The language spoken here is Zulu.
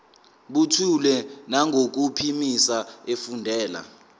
buthule nangokuphimisa efundela